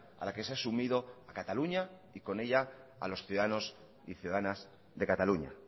a la que se ha asumido a cataluña y con ella a los ciudadanos y ciudadanas de cataluña